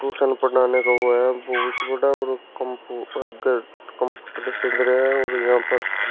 tuition पढ़ाने का वो है बहुत बड़ा और कंपूटर गे कंपूटर से धरे हैं और यहां पर --